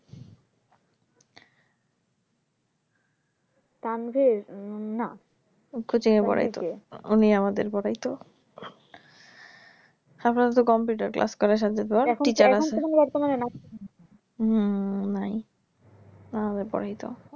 তানভীর না coaching এ পড়ায় তো উনি আমাদের পড়ায় তো সকালে তো computer class করায় হম নাই